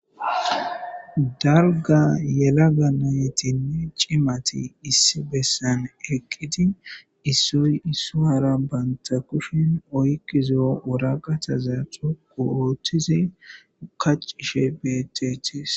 dalga yelaga nayetinne ciimati issi bessan eqqidi issoy issuhara banta kushin oyqizo woraqataza xoku oothtizi kaccishe beettetis